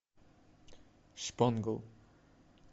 шпонгл